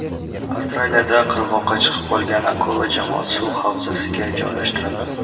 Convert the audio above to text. Avstraliyada qirg‘oqqa chiqib qolgan akula jamoat suv havzasiga joylashtirildi .